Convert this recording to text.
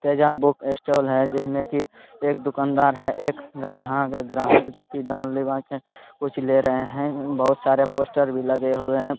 Teja book stall है जिसमें की एक दुकानदार है एक गारा ग्राहक जोकी डार लीबा के कुछ ले रहे हैं| बोहत सारे पोस्टर भी लगे हुए हैं।